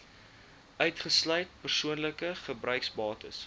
uitgesluit persoonlike gebruiksbates